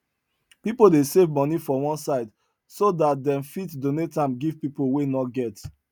people dey save money for one side so that them fit donate am give people wey no get